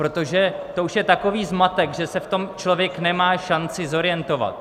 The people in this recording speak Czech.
Protože to už je takový zmatek, že se v tom člověk nemá šanci zorientovat.